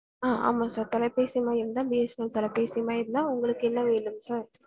அஹ் ஆமா sir தொலைபேசி மையம் தான் BSNL தொலைபேசி மையம் தான் உங்களக்கு என்ன வேணும் sir